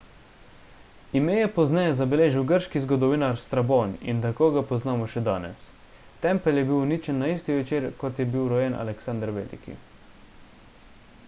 ime je pozneje zabeležil grški zgodovinar strabon in tako ga poznamo še danes tempelj je bil uničen na isti večer kot je bil rojen aleksander veliki